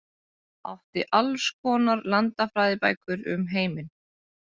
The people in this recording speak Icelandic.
Átti alls konar landafræðibækur um heiminn.